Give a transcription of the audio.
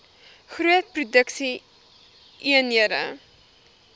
groot produksie eenhede